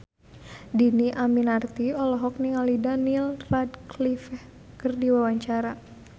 Dhini Aminarti olohok ningali Daniel Radcliffe keur diwawancara